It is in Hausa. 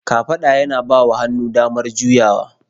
Kafada yana bawa hannu damar juyawa.